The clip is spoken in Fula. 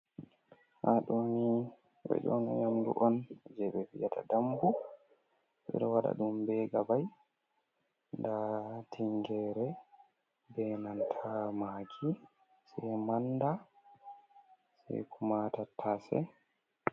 Hadoni yamdu on je be vyata dambu, bedo wada dum be gabai da tingere be nanta maggi se manda se kuma tattase.